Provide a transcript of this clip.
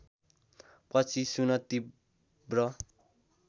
पछि सुन तीव्र